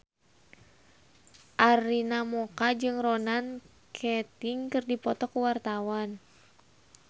Arina Mocca jeung Ronan Keating keur dipoto ku wartawan